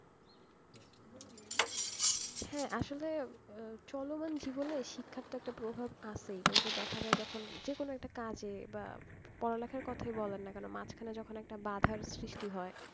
হ্যাঁ আসলে চলমান জীবনে শিক্ষার তো একটা প্রভাব আছেই কিন্তু দেখা যায় যখন যে কোন একটা কাজে বা পড়া লেখার কোথায় বলেন না কেন মাঝখানে যখন একটা বাধার সৃষ্টি হয়,